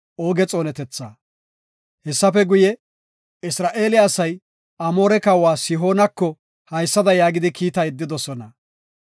Hessafe guye, Isra7eele asay Amoore kawa Sihooneko haysada yaagidi kiita yeddidosona.